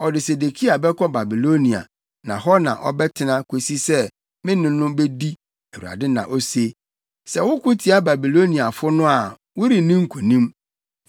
Ɔde Sedekia bɛkɔ Babilonia, na hɔ na ɔbɛtena akosi sɛ me ne no bedi, Awurade na ose. Sɛ woko tia Babiloniafo no a worenni nkonim.’ ”